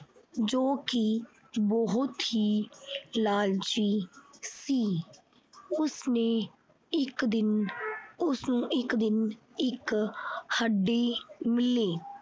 ਜੋ ਕਿ ਬਹੁਤ ਹੀ ਲਾਲਚੀ ਸੀ। ਉਸਨੇ ਇਕ ਦਿਨ ਉਸਨੂੰ ਇੱਕ ਦਿਨ ਅਹ ਇੱਕ ਦਿਨ ਇੱਕ ਹੱਡੀ ਮਿਲੀ।